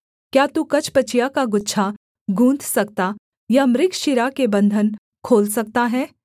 क्या तू कचपचिया का गुच्छा गूँथ सकता या मृगशिरा के बन्धन खोल सकता है